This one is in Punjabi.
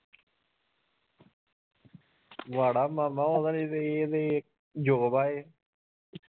ਮਾੜਾ ਮਾਮਾ ਉਹਨਾਂ ਦੀ ਤੇ job ਆ ਇਹ